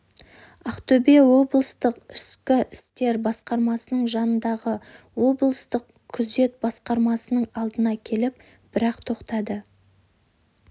ақтөбе облыстық ішкі істер басқармасының жанындағы облыстық күзет басқармасының алдына келіп бір-ақ тоқтадық